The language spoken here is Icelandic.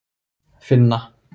Finna